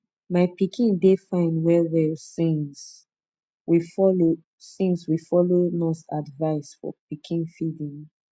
my pikin dey fine wellwell since we follow since we follow nurse advice for pikin feeding